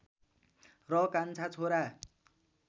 र कान्छा छोरा